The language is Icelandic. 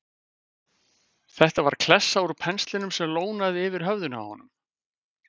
Þetta var klessa úr penslinum sem lónaði yfir höfðinu á honum!